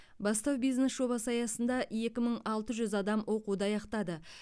бастау бизнес жобасы аясында екі мың алты жүз адам оқуды аяқтады